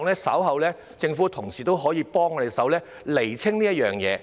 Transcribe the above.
我希望政府同事稍後可以幫助我們釐清這件事。